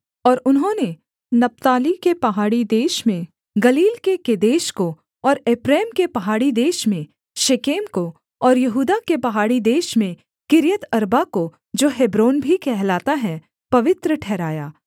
और उन्होंने नप्ताली के पहाड़ी देश में गलील के केदेश को और एप्रैम के पहाड़ी देश में शेकेम को और यहूदा के पहाड़ी देश में किर्यतअर्बा को जो हेब्रोन भी कहलाता है पवित्र ठहराया